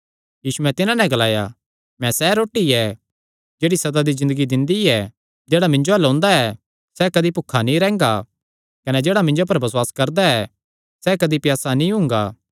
यीशुयैं तिन्हां नैं ग्लाया मैं सैह़ रोटी ऐ जेह्ड़ी सदा दी ज़िन्दगी दिंदी ऐ जेह्ड़ा मिन्जो अल्ल ओंदा ऐ सैह़ कदी भुखा नीं रैंह्गा कने जेह्ड़ा मिन्जो पर बसुआस करदा ऐ सैह़ कदी प्यासा नीं हुंगा